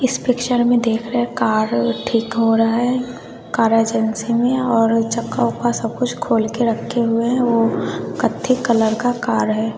इस पिक्चर में देख रहे कार ठीक हो रहा है कार एजेंसी में और चक्का-ऊक्का सब कुछ खोल के रक्खे हुए है वो कत्थी कलर का कार है।